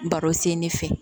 Baro sen ne fɛ